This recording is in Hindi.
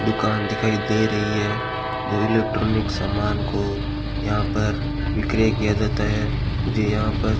दुकान दिखाई दे रही है जो इलेक्ट्रॉनिक सामान को यहां पर विक्रय किया जाता है मुझे यहां पर--